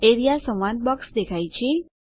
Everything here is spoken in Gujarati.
એઆરઇએ સંવાદ બોક્સ દેખાય છે